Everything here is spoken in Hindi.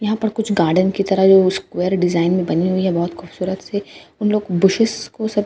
एहापार कुछ गार्डन की तारा जो स्क्वायर डिजाइन बानी हुई है बोहोत खूबसूरत से हम लोग बुसिस को